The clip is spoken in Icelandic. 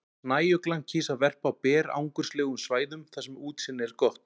Snæuglan kýs að verpa á berangurslegum svæðum þar sem útsýni er gott.